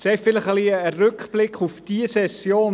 Zuerst einen Rückblick auf diese Session.